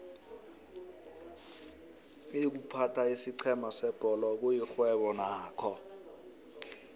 iykuphatha isiqhema sebholo kuyixhwebo nakho